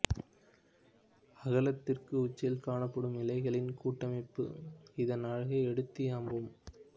அகலத்திற்கு உச்சியில் காணப்படும் இலைகளின் கூட்டமைப்பும் இதன் அழகை எடுத்தியம்பும்